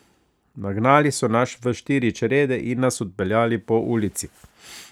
Nagnali so nas v štiri črede in nas odpeljali po ulici.